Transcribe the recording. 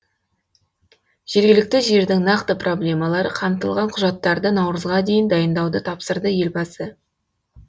жергілікті жердің нақты проблемалары қамтылған құжаттарды наурызға дейін дайындауды тапсырды елбасы